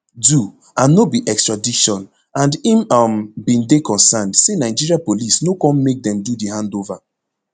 do and no be extradition and im um bin dey concerned say nigeria police no come make dem do di handover